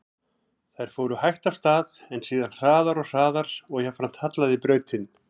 Þær fóru hægt af stað, en síðan hraðar og hraðar og jafnframt hallaði brautin.